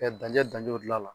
danjɛ danjɛ dilan a la.